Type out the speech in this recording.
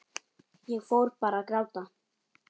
Ég fór bara að gráta.